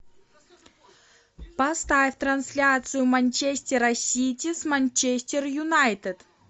поставь трансляцию манчестера сити с манчестер юнайтед